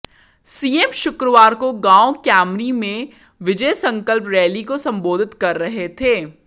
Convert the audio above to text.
CM शुक्रवार को गांव कैमरी में विजय संकल्प रैली को संबोधित कर रहे थे